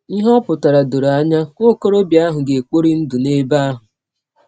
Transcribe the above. Ihe ọ pụtara dọrọ anya: Nwa ọkọrọbịa ahụ ga - ekpọri ndụ n’ebe ahụ.